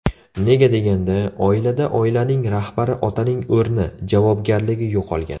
Nega deganda, oilada oilaning rahbari otaning o‘rni, javobgarligi yo‘qolgan.